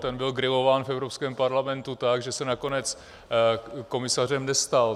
Ten byl grilován v Evropském parlamentu tak, že se nakonec komisařem nestal.